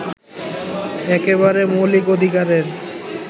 একেবারে মৌলিক অধিকারের